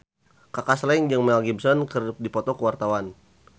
Kaka Slank jeung Mel Gibson keur dipoto ku wartawan